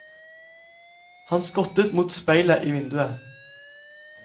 Han skottet mot speilet i vinduet.